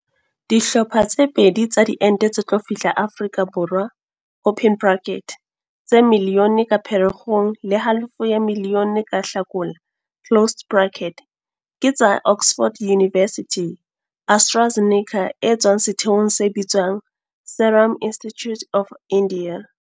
Dihlopha tse pedi tsa diente tse tlo fihla Afrika Borwa, tse miliyone ka Phere kgong le halofo ya miliyone ka Hlakola, ke tsa Oxford University-AstraZeneca e tswang setheong se bitswang Serum Institute of India.